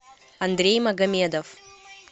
андрей магомедов